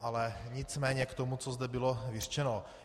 Ale nicméně k tomu, co zde bylo vyřčeno.